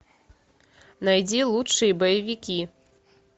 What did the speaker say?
найди лучшие боевики